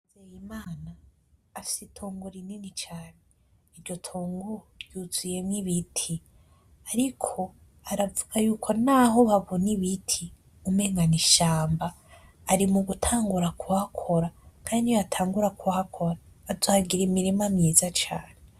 Nzeyimana afise itongo rinini cane iryo tongo ryuzuyemwo ibiti ariko aravuga yuko naho babona ibiti umengo n'ishamba ari mugutangura kuhakora kandi niyo yatangura kuhakora azohagira imirima myiza cane.